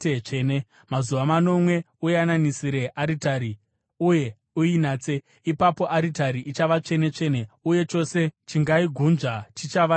Mazuva manomwe uyananisire aritari uye uinatse. Ipapo aritari ichava tsvene-tsvene, uye chose chichaigunzva chichava chitsvene.